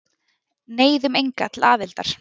Neyðum enga til aðildar